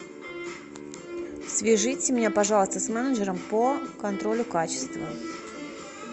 свяжите меня пожалуйста с менеджером по контролю качества